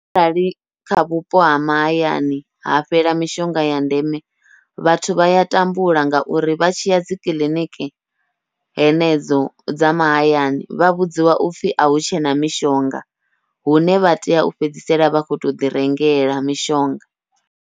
Arali kha vhupo ha mahayani ha fhela mishonga ya ndeme, vhathu vha ya tambula ngauri vha tshiya dzi kiḽiniki henedzo dza mahayani vha vhudziwa upfhi ahu tshena mishonga, hune vha tea u fhedzisela vha kho to ḓi rengela mishonga.